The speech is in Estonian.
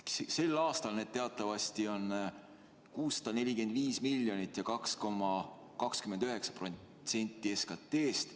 Sel aastal need teatavasti on 645 miljonit ja 2,29% SKT-st.